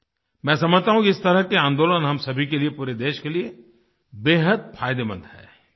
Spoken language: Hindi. मैं समझता हूँ कि इस तरह के आन्दोलन हम सभी के लिए पूरे देश के लिए बेहद फायदेमंद हैं